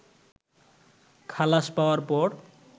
খালাস পাওয়ার পর